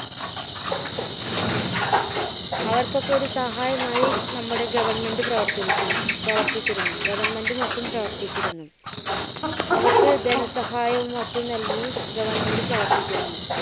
അവർക്ക് ഒക്കെ ഒരു സഹായം ആയി നമ്മുടെ government പ്രവർത്തിച്ചിരുന്നു പ്രവർത്തിച്ചിരുന്നു. government മറ്റും പ്രവർത്തിച്ചിരുന്നു . അവർക്ക് ധനസഹായം മറ്റും നൽകി government പ്രവർത്തിച്ചിരുന്നു.